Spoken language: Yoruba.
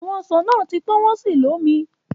Awọn oranges ti wa ni ripe ati ki o juicy.